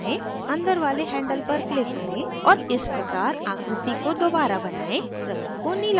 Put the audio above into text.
अंदर वाले handle पर click करें और इस प्रकार आकृति को दोबारा बनाएं रंग को नीला करें